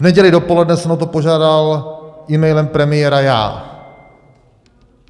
V neděli dopoledne jsem o to požádal e-mailem premiéra já.